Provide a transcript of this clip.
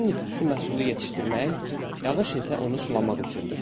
Günün istisi məhsulu yetişdirmək, yağış isə onu sulamaq üçündür.